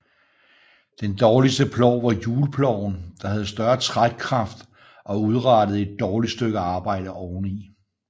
Den dårligste plov var hjulploven der havde større trækkraft og udrettede et dårligt stykke arbejde oveni